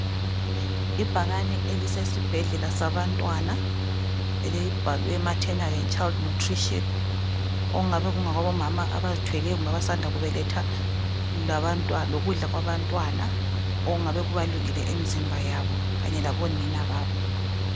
Ibhakane elisesibhedlela sabantwana elibhalwe Martenal and Child Nutrition okungaba ngokwabomama abazithweleyo labasanda kubeletha lokudla kwabantwana okungabe kubalulekile kumizimba yabo kanye labonina babo.